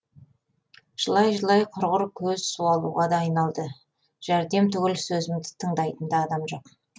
жылай жылай құрғыр көз суалуға да айналды жәрдем түгіл сөзімді тындайтын да адам жоқ